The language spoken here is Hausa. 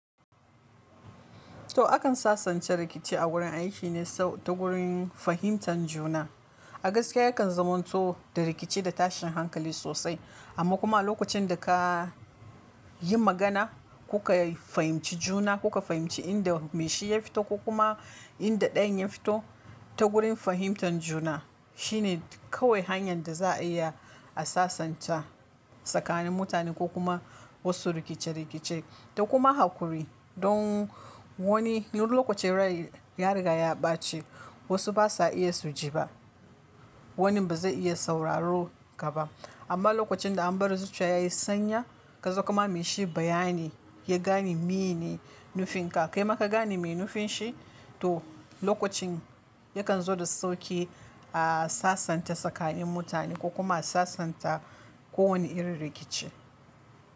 To akan sasanta rikici a wurin aiki ne ta gurin fahimtar juna. A gaskiya yakan zamanto da rikici da tashin hankali sosai amma kuma a lokacin da ka yi magana kuka fahimci juna kuka fahimci inda mai shi ya fito ko kuma inda ɗayan ya fito ta gurin fahimtar juna shine kawai hanyar da za a iya a sasanta tsakanin mutane ko kuma wasu rikice-rikice. Da kuma hakuri don wani lokaci raye ya riga ya ɓace wasu ba sa iya su ji ba. Wani ba zai iya sauraron ka ba amma lokacin da an bar zuciya ya yi sanyi ka zo kama mai shi bayani ya gane meye ne nufinka kai ma ka gane meye nufin shi to lokacin yakan zo da sauƙi a sasanta tsakanin mutane ko kuma sasanta ko wane irin rikici.